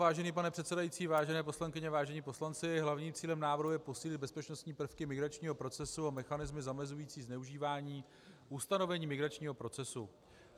Vážený pane předsedající, vážené poslankyně, vážení poslanci, hlavním cílem návrhu je posílit bezpečnostní prvky migračního procesu a mechanismy zamezující zneužívání ustanovení migračního procesu.